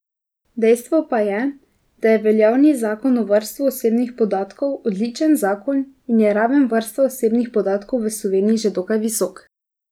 Dejstvo pa je, da je veljavni zakon o varstvu osebnih podatkov odličen zakon in je raven varstva osebnih podatkov v Sloveniji že dokaj visoka.